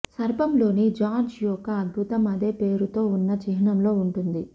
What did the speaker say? సర్పంలోని George యొక్క అద్భుతం అదే పేరుతో ఉన్న చిహ్నంలో ఉంటుంది